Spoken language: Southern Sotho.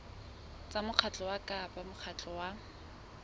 tsa mokgatlo kapa mokgatlo wa